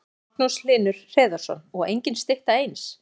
Magnús Hlynur Hreiðarsson: Og engin stytta eins?